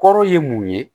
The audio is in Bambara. Kɔrɔ ye mun ye